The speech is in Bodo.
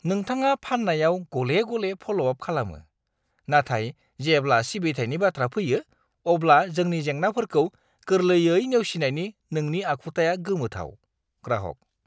नोंथाङा फाननायाव गले-गले फ'ल'-आप खालामो, नाथाय जेब्ला सिबिथायनि बाथ्रा फैयो, अब्ला जोंनि जेंनाफोरखौ गोरलैयै नेवसिनायनि नोंनि आखुथाया गोमोथाव। (ग्राहक)